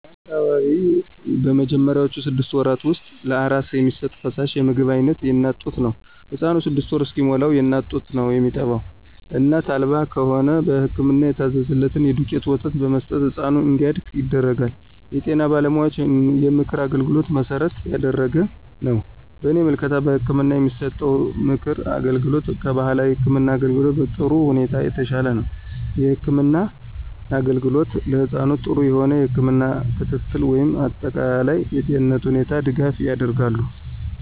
በአካባቢው በመጀመሪያውቹ ስድስት ወራት ውስጥ ለአራስ የሚሰጥ ፈሳሽ የምግብ አይነት የእናት ጡት ነው። ህፃኑ ስድስት ወር እስከሚሞላዉ የእናት ጡት ነው የሚጠባው እናት አልባ ከሆነ በህክምና የታዘዘ የዱቄት ወተት በመስጠት ህፃኑ እንዲያድግ ይደረጋል። የጤና ባለሙያዎችን የምክር አገልግሎት መሠረት ያደረገ ነው። በእኔ ምልከታ በህክምና የሚሰጠው የምክር አገልግሎት ከባህላዊ የህክም አገልግሎት በጥሩ ሁኔታዎች የተሻለ ነው። የህክምና አገልግሎት ለህፃኑ ጥሩ የሆነ የህክም ክትትል ወይም አጠቃላይ የጤንነቱ ሁኔታዎች ድጋፍ ያደርጋሉ።